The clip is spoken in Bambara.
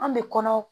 An bɛ kɔnɔ